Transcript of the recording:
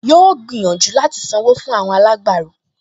Yóò gbìyànjú láti sanwó fún àwọn alágbàro